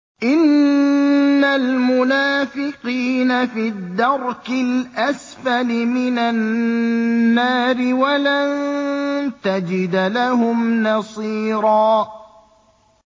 إِنَّ الْمُنَافِقِينَ فِي الدَّرْكِ الْأَسْفَلِ مِنَ النَّارِ وَلَن تَجِدَ لَهُمْ نَصِيرًا